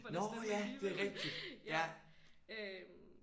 Nå ja det er rigtigt! Ja